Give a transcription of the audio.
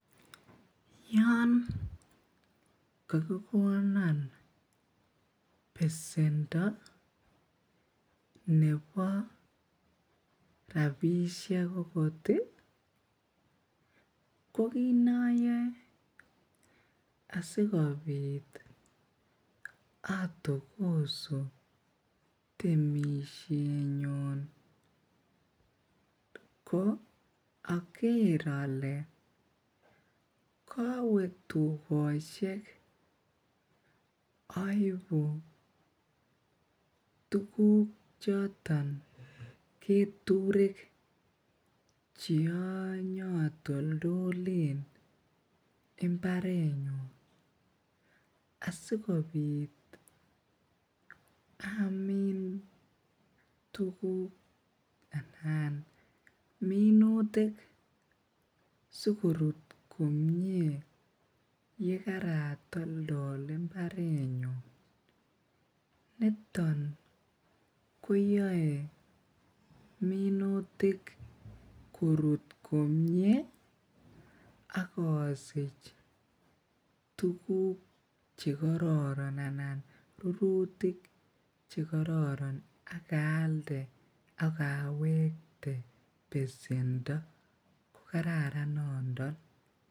Yoon kakikonon besendo nebo rabisiek akot ih ko kit nayoe asi kobit atogosu temisiet nyun ko akere ale kawetugosiek aibu tuguk choton keturek cheanyatoltolen imbaret nyuun asikobit Amin tuguk anan minutik asikorut komie yekaratoltol imbaret nyuun. Nito koyae minutik korut komie aKasich rurutik chekororon agaalde agawekte besendo kokaran nondo.